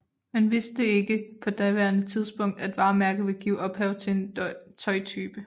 Man vidste ikke på daværende tidspunkt at varemærket ville give ophav til en tøjtype